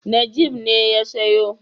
Najeeb ne ya siyo.